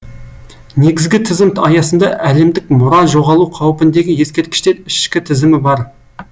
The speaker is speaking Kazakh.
негізгі тізім аясында әлемдік мұра жоғалу қаупіндегі ескерткіштер ішкі тізімі бар